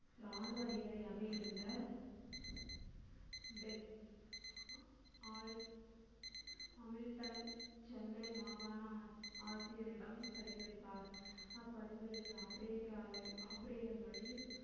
இராணுவ அதிகாரியாக இருந்த சென்னை மாகாண ஆட்சியரிடம் பரிந்துரைத்தார் அப்பரிந்துரையில்